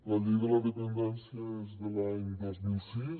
la llei de la dependència és de l’any dos mil sis